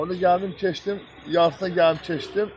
Ona görə gəldim keçdim, yarısı gəlib keçdim.